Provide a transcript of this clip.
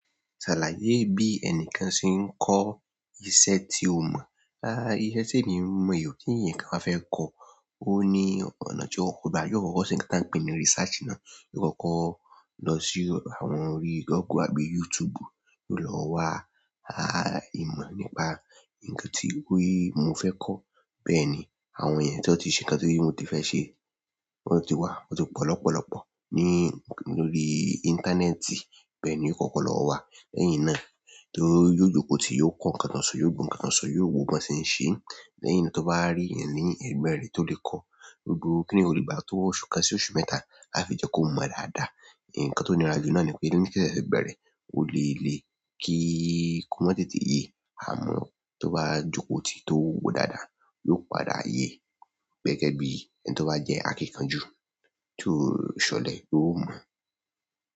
Sàlàyé bí ẹnìkan ṣe ń kọ iṣẹ́ tí ó mọ̀, a iṣẹ́ tí èmi mọ̀ èyí kí èèyàn kan bá fẹ́ kọ́ọ. Ó ní ọ̀nà tí ó kò bá yóò kọ́kọ́ ṣe ń ta ń pè ní research náà. Yọ́ kọ́kọ́ lọ sí àwọn orí Google àbí YouTube, yóò lọ wá, a ìmọ̀ nípa ǹkan tí wéè mo fẹ́ kọ́. Bẹ́ẹ̀ ni àwọn ènìyàn tí wọ́n ti ṣe ǹkan tí mo ti fẹ́ ṣe, wọ́n ti wá, wọ́n ti pọ̀ lọ́pọ̀lọ́pọ̀ ní lórí íńtánẹ́ẹ̀tì. Bẹ́ẹ̀ ni ó kọ́kọ́ lọ wáa. Lẹ́yìn náà tó yóò jókòó tì, yóò kọ́ ǹkan kan sọ, yóò wo ǹkan kan sọ, yóò wo bí wọn se ń se. Lẹ́yìn tí ó bá rí èèyàn ní ẹ̀gbẹ́ rẹ̀ tó le kọ́ọ, gbogbo kíni yìí kò le gbà tó oṣù kan sí oṣù mẹ́ta a fi jẹ́ kó mọ̀ọ́ dáadáa. Ǹkan tó níra jú náà nì pé ni ìṣẹ̀ṣẹ̀ bẹ̀rẹ̀, ò lè lè kí ó mọ̀ tètè yé àmọ́ tó bá jókòó tì tó gbò dáadáa, yóò padà yé. Gẹ́gẹ́ bí ẹni tó bá jẹ́ akíkanjú, tó ṣọ̀lẹ, yóò màá.